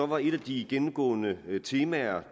var et af de gennemgående temaer